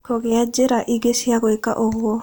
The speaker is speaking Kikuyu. Kũgĩa njĩra ingĩ cia gwĩka ũguo.